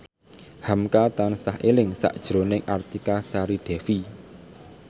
hamka tansah eling sakjroning Artika Sari Devi